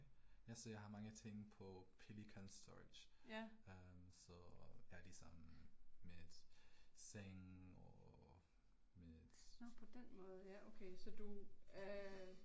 Altså jeg har mange ting på Pelican Storage. Øh så jeg ligesom, mit seng og mit